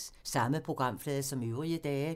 Samme programflade som øvrige dage